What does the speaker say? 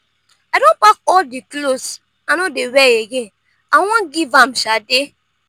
i don pack all the clothes i no dey wear again i wan give am sade